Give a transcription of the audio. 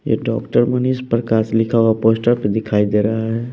ये डॉक्टर मनीष प्रकाश लिखा हुआ पोस्टर पे दिखाई दे रहा है।